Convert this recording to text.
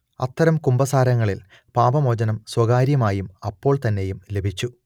അത്തരം കുമ്പസാരങ്ങളിൽ പാപമോചനം സ്വകാര്യമായും അപ്പൊൾത്തന്നെയും ലഭിച്ചു